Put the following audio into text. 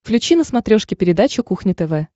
включи на смотрешке передачу кухня тв